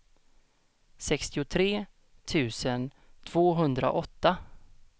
sextiotre tusen tvåhundraåtta